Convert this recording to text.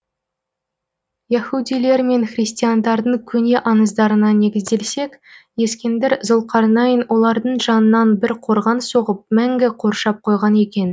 яһудилер мен христиандардың көне аңыздарына негізделсек ескендір зұлқарнайн олардың жанынан бір қорған соғып мәңгі қоршап қойған екен